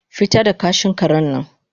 fita da kashin karen nan